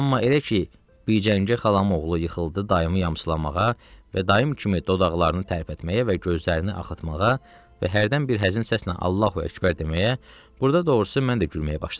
Amma elə ki, bir gəncə xalam oğlu yıxıldı dayımı yamsılamağa və dayım kimi dodaqlarını tərpətməyə və gözlərini axıtmağa və hərdən bir həzin səslə Allahu Əkbər deməyə, burda doğrusu mən də gülməyə başladım.